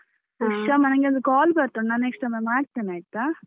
Okay Kshama ನನ್ಗೆ ಒಂದು call ಬರ್ತಾ ಉಂಟು ನಾನ್ next time ಮಾಡ್ತೇನೆ ಆಯ್ತಾ.